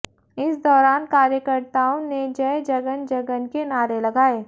इस दौरान कार्यकर्ताओं ने जय जगन जगन के नारे लगाए